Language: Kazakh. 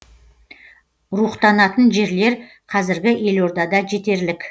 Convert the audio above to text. рухтанатын жерлер қазіргі елордада жетерлік